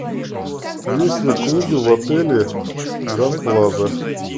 есть ли клубы в отеле гранд плаза